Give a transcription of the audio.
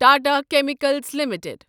Tata chemicals limited